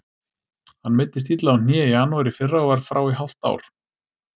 Hann meiddist illa á hné í janúar í fyrra og var frá í hálft ár.